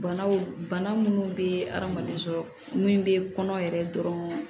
Banaw bana minnu bɛ adamaden sɔrɔ min bɛ kɔnɔ yɛrɛ dɔrɔn